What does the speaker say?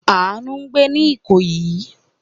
Àánú ń gbé ní Ìkòyí.